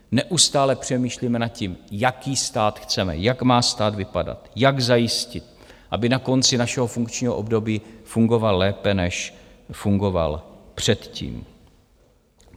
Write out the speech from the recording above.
Neustále přemýšlíme nad tím, jaký stát chceme, jak má stát vypadat, jak zajistit, aby na konci našeho funkčního období fungoval lépe, než fungoval předtím.